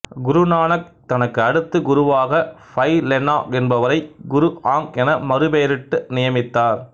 குரு நானக் தனக்கு அடுத்து குருவாக பை லென்னா என்பவரை குரு ஆங்க் என மறுபெயரிட்டு நியமித்தார்